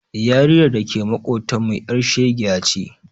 Yarinyar da ke maƙotanmu ƴar shegiya ce.